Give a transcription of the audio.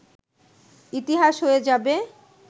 ইতিহাস হয়ে যাবে